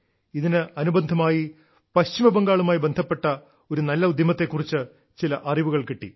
ഇതിന് അനുബന്ധമായി പശ്ചിമബംഗാളുമായി ബന്ധപ്പെട്ട ഒരു നല്ല ഉദ്യമത്തെ കുറിച്ച് ചില അറിവുകൾ കിട്ടി